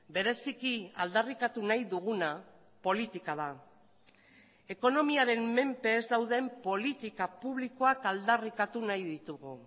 bereziki aldarrikatu nahi duguna politika da ekonomiaren menpe ez dauden politika publikoak aldarrikatu nahi ditugu